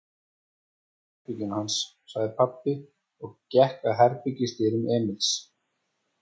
Leitum í herberginu hans, sagði pabbi og gekk að herbergisdyrum Emils.